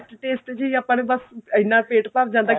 taste taste ਚ ਹੀ ਆਪਾਂ ਨੇ ਬੱਸ ਇੰਨਾ ਪੇਟ ਭਰ ਜਾਂਦਾ ਕਿ